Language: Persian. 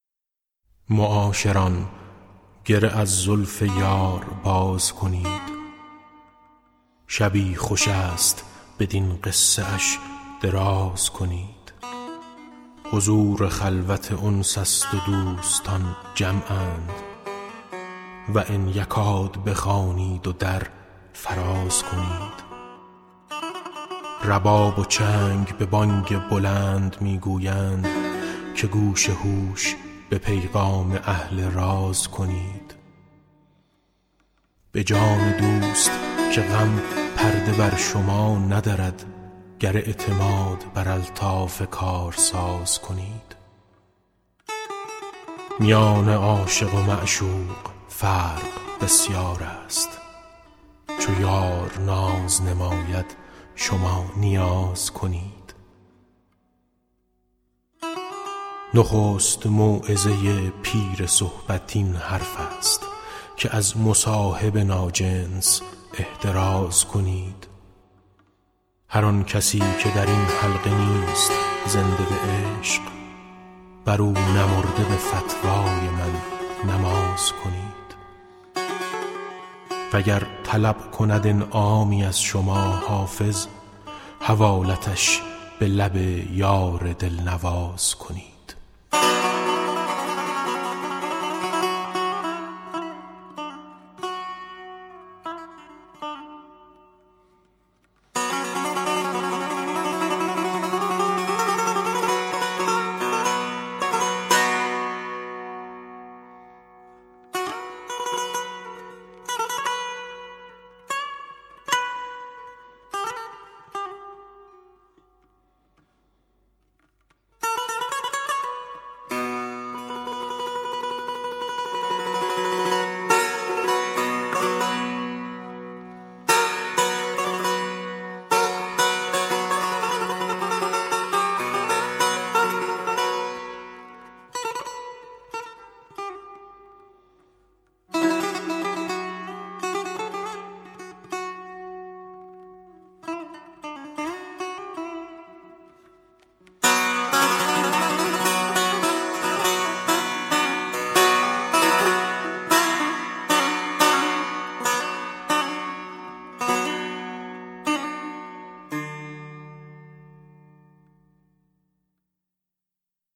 معاشران گره از زلف یار باز کنید شبی خوش است بدین قصه اش دراز کنید حضور خلوت انس است و دوستان جمعند و ان یکاد بخوانید و در فراز کنید رباب و چنگ به بانگ بلند می گویند که گوش هوش به پیغام اهل راز کنید به جان دوست که غم پرده بر شما ندرد گر اعتماد بر الطاف کارساز کنید میان عاشق و معشوق فرق بسیار است چو یار ناز نماید شما نیاز کنید نخست موعظه پیر صحبت این حرف است که از مصاحب ناجنس احتراز کنید هر آن کسی که در این حلقه نیست زنده به عشق بر او نمرده به فتوای من نماز کنید وگر طلب کند انعامی از شما حافظ حوالتش به لب یار دل نواز کنید